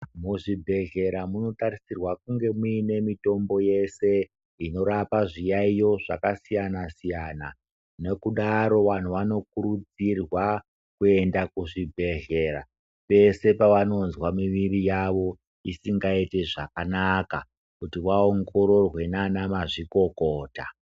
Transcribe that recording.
Muzvibhedhlera munotarisirwa kunge muine mitombo yese inorapa zviyaiyo zvakasiyana siyana nekudaro vantu vanofanira kuenda kuzvibhedhlera pese pavanonzwa mwiri yawo usingaiti zvakanaka kuti vaongororwe nana mazvikokota.